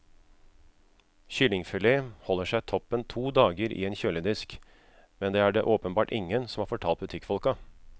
Kyllingfilet holder seg toppen to dager i en kjøledisk, men det er det åpenbart ingen som har fortalt butikkfolka.